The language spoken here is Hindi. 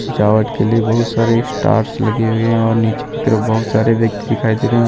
सजावट के लिए बहुत सारे स्टार्स लगी हुई है और नीचे की तरफ बहुत सारे व्यक्ति दिखाई दे रहे हैं और